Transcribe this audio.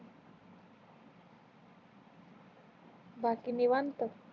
बाकी निवांत